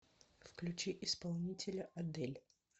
включи исполнителя адэль